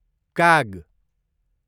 काग